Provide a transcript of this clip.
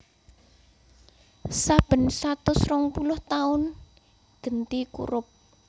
Saben satus rongpuluh taun genti kurup